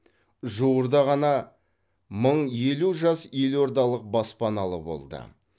жуырда ғана мың елу жас елордалық баспаналы болды